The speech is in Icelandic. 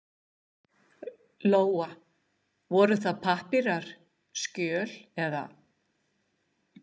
Lóa: Voru það pappírar, skjöl eða?